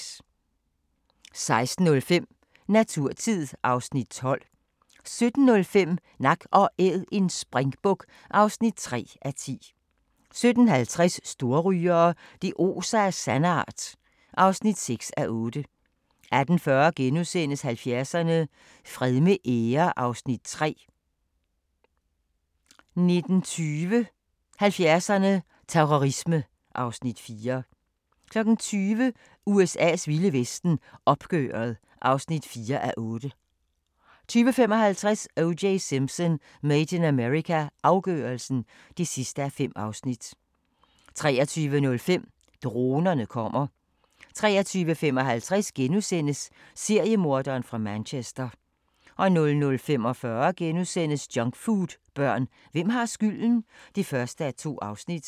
16:05: Naturtid (Afs. 12) 17:05: Nak & Æd – en springbuk (3:10) 17:50: Storrygere – det oser af sandart (6:8) 18:40: 70'erne: Fred med ære (Afs. 3)* 19:20: 70'erne: Terrorisme (Afs. 4) 20:00: USA's vilde vesten: Opgøret (4:8) 20:55: O.J. Simpson: Made in America – afgørelsen (5:5) 23:05: Dronerne kommer 23:55: Seriemorderen fra Manchester * 00:45: Junkfoodbørn – hvem har skylden? (1:2)*